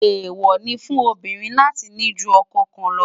èwo ní fún obìnrin láti ní jù okò kàn ló